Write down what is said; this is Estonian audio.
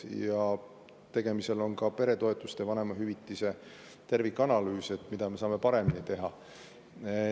Ja tegemisel on ka peretoetuste ja vanemahüvitise tervikanalüüs, et, mida me saame paremini teha.